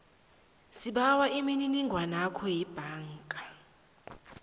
sibawa imininingwanakho yebhanga